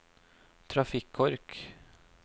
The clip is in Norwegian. trafikkork